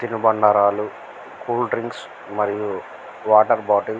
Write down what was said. తిను బండరాళ్ళు cool drinks మరియు వాటర్ బాటిల్ .